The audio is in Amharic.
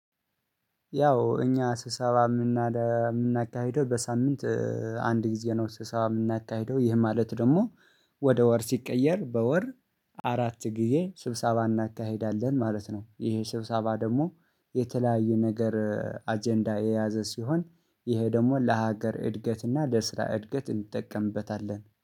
ያው እኛ ስብሰባባ የምናካሂደው በሳምንት አንድ ጊዜ ነው። ስብሰባ የምናካሂደው ይህ ማለት ደግሞ ወደ ወር ሲቀየር በወር አራት ጊዜ ስብሰባ እናካሂዳለን ማለት ነው። ይሄ ስብሰባ ደግሞ የተለያዩ ነገር አጀንዳ የያዘ ሲሆን ይሄ ደግሞ ለሀገር እድገትና ለስራ እድገት እንጠቀምበታለን